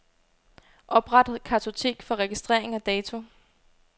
Opret kartotek for registrering af dato.